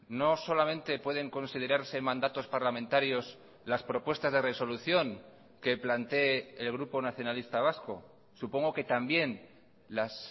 no solamente pueden considerarse mandatos parlamentarios las propuestas de resolución que plantee el grupo nacionalista vasco supongo que también las